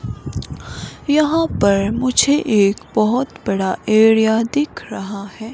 यहां पर मुझे एक बहुत बड़ा एरिया दिख रहा है।